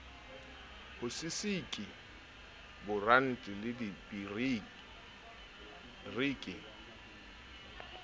ho sisiki boranti le dipiriti